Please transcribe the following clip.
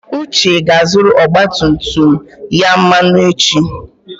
Uche ga-azụrụ ọgba tum tum ya mmanụ echi.